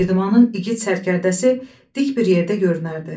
Girdimanın igid sərkərdəsi dik bir yerdə görünərdi.